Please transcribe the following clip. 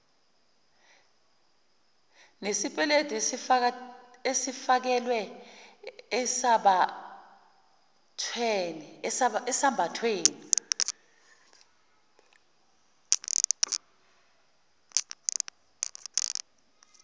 nesipeledu esifakelwa esambathweni